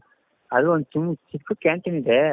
ಅದು ಒಂದ್ ಚಿಕ್ಕು canteen ಇದೆ.